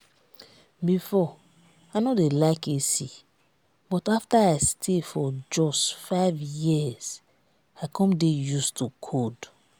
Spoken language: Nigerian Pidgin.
before i no dey like ac but after i stay for jos five years i come dey used to cold